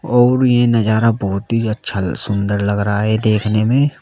और ये नजारा बहोत ही अच्छा सुंदर लग रहा है देखने में।